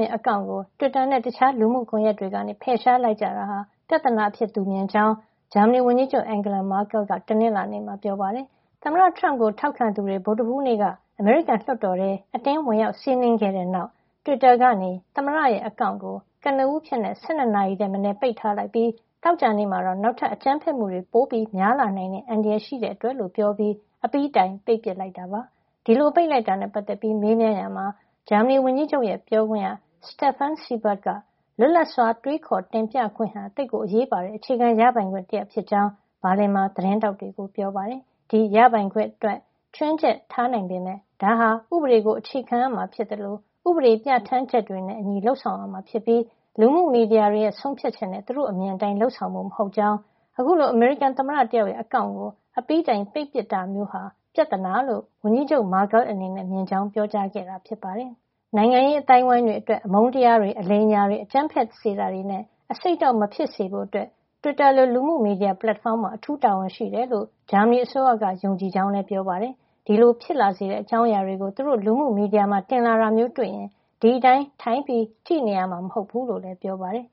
ရဲ့ အကောင့်ကို တွစ်တာနဲ့ တခြားလူမှုကွန်ယက်တွေက ဖယ်ရှားလိုက်ကြတာဟာ ပြဿနာအဖြစ် သူမြင်ကြောင်း ဂျာမဏီဝန်ကြီးချုပ် Angela Merkel က တနင်္လာနေ့မှာ ပြောပါတယ်။ သမ္မတထရမ့်ကို ထောက်ခံသူတွေ ဗုဒ္ဓဟူးနေ့က အမေရိကန်လွှတ်တော်ထဲ အတင်းဝင်ရောက် စီးနင်းခဲ့တဲ့ နောက် တွစ်တာက သမ္မတရဲ့ အကောင့်ကို ကနဦးအဖြစ် ၁၂ နာရီထက်မနည်း ပိတ်ထားလိုက်ပြီး သောကြာနေ့မှာတော့ နောက်ထပ် အကြမ်းဖက်မှုတွေပိုများလာနိုင်တဲ့ အန္တရာယ် ရှိတဲ့အတွက် လို့ ပြောပြီး အပြီးတိုင်ပိတ်ပစ်လိုက်တာပါ။ ဒီလို ပိတ်လိုက်တာနဲ့ ပတ်သက်ပြီး မေးမြန်းရာမှာ ဂျာမဏီဝန်ကြီးချုပ်ရဲ့ ပြောခွင့်ရ Steffen Seibert က - လွတ်လပ်စွာ တွေးခေါ်တင်ပြခွင့်ဟာ သိပ်ကို အရေးပါတဲ့ အခြေခံရပိုင်ခွင့် တရပ်ဖြစ်ကြောင်း ဘာလင်မှာ သတင်းထောက်တွေကို ပြောပါတယ်။ ဒီရပိုင်ခွင့်အတွက် ခြွင်းချက်ထား နိုင်ပေမယ့် ဒါဟာဥပဒေကို အခြေခံရမှာဖြစ်သလို ဥပဒေပြဌာန်းချက်တွေနဲ့ အညီ လုပ်ဆောင်ရမှာ ဖြစ်ပြီး လူမှုမီဒီယာတွေရဲ့ ဆုံးဖြတ်ချက်နဲ့ သူတို့ အမြင်အတိုင်း လုပ်ဆောင်ဖို့ မဟုတ်ကြောင်း၊ အခုလို အမေရိကန်သမ္မတတယောက်ရဲ့ အကောင့်ကို အပြီးတိုင်ပိတ်ပစ်တာမျိုးဟာ ပြဿနာလို့ ဝန်ကြီးချုပ် Markel အနေနဲ့ မြင်ကြောင်း ပြောကြားခဲ့တာပါ။ နိုင်ငံရေးအသိုင်းဝိုင်းတွေ အတွက် အမုန်းတရားတွေ၊ အလိမ်အညာတွေ အကြမ်းဖက်စေတာတွေနဲ့ အဆိပ်အတောက် မဖြစ်စေဖို့အတွက် တွစ်တာလို လူမှုမီဒီယာပလက်ဖေါင်းမှာ အထူးတာဝန်ရှိတယ်လို့ ဂျာမဏီအစိုးရက ယုံကြည်ကြောင်းလည်း Seibert ကပြောပါတယ်။ ဒီလို ဖြစ်လာစေတဲ့ အကြောင်းအရာတွေကို သူတို့လူမှုမီဒီယာမှာ တင်လာတာမျိုးတွေ့ရင် ဒီအတိုင်း ထိုင်ကြည့်နေရမှာ မဟုတ်ဖူးလို့လည်း ပြောပါတယ်။